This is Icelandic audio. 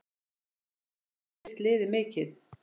Þuríður hefur styrkt liðið mikið.